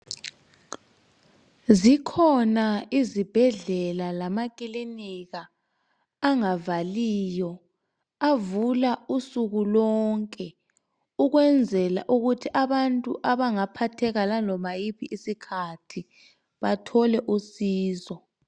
Zikhona izibhedlela lamakilinika angavaliyo avula ubusuku bonke ukwenzela ukuthi abantu abangaphatheka laloba yiphi isikhathi bathole usizi.